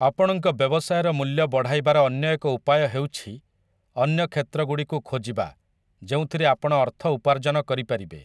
ଆପଣଙ୍କ ବ୍ୟବସାୟର ମୂଲ୍ୟ ବଢ଼ାଇବାର ଅନ୍ୟ ଏକ ଉପାୟ ହେଉଛି ଅନ୍ୟ କ୍ଷେତ୍ରଗୁଡ଼ିକୁ ଖୋଜିବା ଯେଉଁଥିରେ ଆପଣ ଅର୍ଥ ଉପାର୍ଜନ କରିପାରିବେ ।